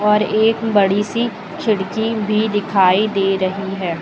और एक बड़ी सी खिड़की भी दिखाई दे रही है।